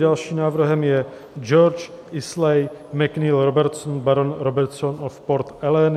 Dalším návrhem je George Islay MacNeill Robertson, Baron Robertson of Port Ellen.